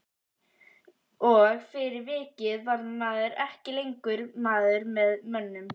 Og fyrir vikið var maður ekki lengur maður með mönnum.